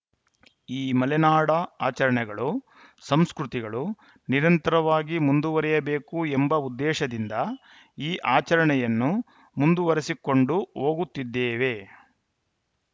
ಈ ಮಲೆನಾಡ ಆಚರಣೆಗಳು ಸಂಸ್ಕೃತಿಗಳು ನಿರಂತರವಾಗಿ ಮುಂದುವರಿಯಬೇಕು ಎಂಬ ಉದ್ದೇಶದಿಂದ ಈ ಆಚರಣೆಯನ್ನು ಮುಂದುವರೆಸಿಕೊಂಡು ಹೋಗುತ್ತಿದ್ದೇವೆ